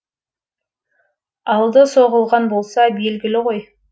алды соғылған болса белгілі ғой